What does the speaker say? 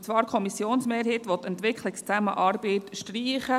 Und zwar will die Kommissionsmehrheit die Entwicklungszusammenarbeit streichen.